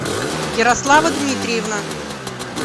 ярослава дмитриевна